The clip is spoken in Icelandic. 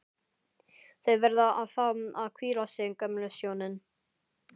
Þau verða að fá að hvíla sig, gömlu hjónin